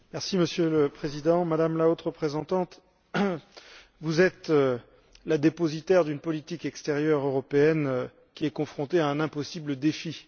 Monsieur le Président, Madame la Haute représentante, vous êtes la dépositaire d'une politique extérieure européenne qui est confrontée à un impossible défi.